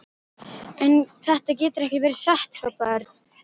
En þetta getur ekki verið satt hrópaði Örn.